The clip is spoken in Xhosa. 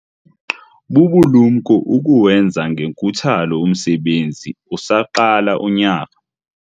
Bubulumko ukuwenza ngenkuthalo umsebenzi usaqala unyaka.